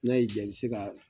N'a y'i ja i be se ka